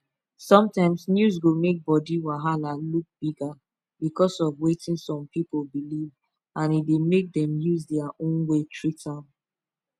sometimes news go make body wahala look bigger because of wetin some pipu believe and e dey make dem use their own way treat am